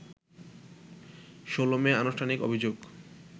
১৬ May আনুষ্ঠানিক অভিযোগ